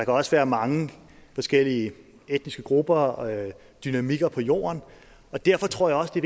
også være mange forskellige etniske grupper og dynamikker på jorden derfor tror jeg også det